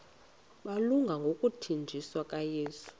malunga nokuthanjiswa kukayesu